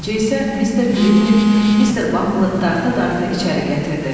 Arxasınca isə Mister Grimuiq Mister Bumble'ı dartadata içəri gətirdi.